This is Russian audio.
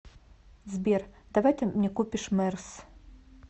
сбер давай ты мне купишь мерс